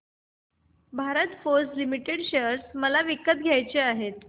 Bharat Forge Limited share मला विकत घ्यायचे आहेत